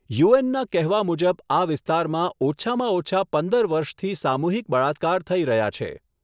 યુએનના કહેવા મુજબ આ વિસ્તારમાં ઓછામાં ઓછા પંદર વર્ષથી સામૂહિક બળાત્કાર થઈ રહ્યા છે.